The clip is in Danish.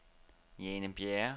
Jane Bjerre